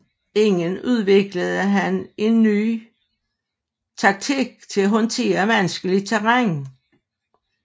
Igen udviklede han en ny taktik til at håndtere vanskeligt terræn